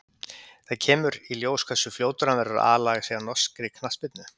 Það kemur í ljós hversu fljótur hann verður að aðlaga sig að norskri knattspyrnu.